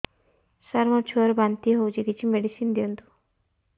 ସାର ମୋର ଛୁଆ ର ବାନ୍ତି ହଉଚି କିଛି ମେଡିସିନ ଦିଅନ୍ତୁ